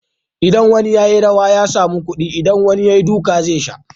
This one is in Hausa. Idan wani ya yi rawa ya samu kudi, idan wani ya yi duka zai sha!